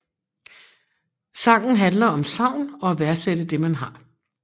Sangen handler om savn og at værdsætte det man har